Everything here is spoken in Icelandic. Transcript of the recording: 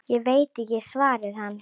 Ég veit ekki, svaraði hann.